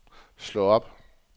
slå op